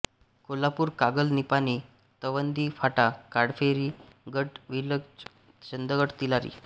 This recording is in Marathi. कोल्हापूर कागल निपाणी तवंदी फाटा काळभैरी गडहिंग्लज चंदगड तिलारी